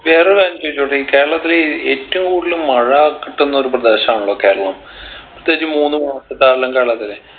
വേറെ ഒരു കാര്യം ചോദിച്ചോട്ടെ കേരളത്തിലീ ഏറ്റവും കൂടുതൽ മഴ കിട്ടുന്നൊരു പ്രദേശാണല്ലോ കേരളം പ്രത്യേകിച്ച് മൂന്നുമാസ കാലങ്കളവിൽ